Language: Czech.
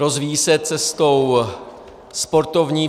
Rozvíjí se cestou sportovní.